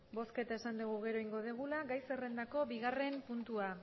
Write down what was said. bozketa esan dugu gero egingo dugula gai zerrendako bigarren puntua